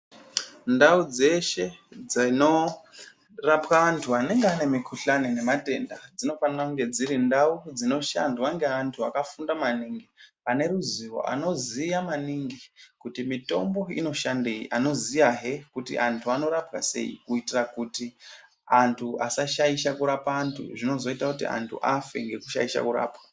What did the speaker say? Ndau dzeshe dzinorapwa antu anenge ane mikhuhlani nematenda dzinofanira kunge dziri ndau dzinoshandwa ngeantu akafunda maningi. Ane ruzivo, anoziya maningi kuti mitombo inoshandei. Anoziyahe kuti antu anorapwa sei? Kuitira kuti antu asashaisha kurapa antu zvinozoita kuti antu afe ngekushaisha kurapwa.